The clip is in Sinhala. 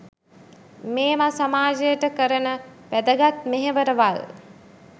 මේවා සමාජයට කරන වැදගත් මෙහෙවරවල්.